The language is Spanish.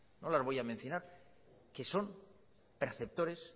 no las voy a mencionar que son perceptores